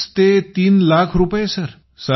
अडीच लाख रुपये तीन लाख रुपये